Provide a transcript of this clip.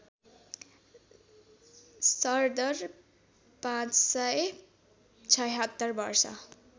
सरदर ५७६ वर्ष